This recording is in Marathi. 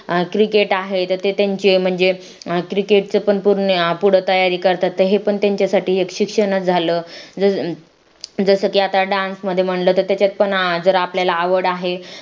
क्रिकेट आहे तर त्यांचे म्हणजे क्रिकेटचे पण पूर्ण पुढ तयारी करतात ते पण त्यांच्यासाठी एक शिक्षणात झालं जसं की आता dance म्हणलं मध्येय म्हणलं जर आपल्याला आवड आहे